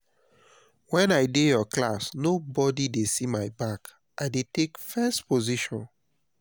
wen i dey your class no body dey see my back i dey take first position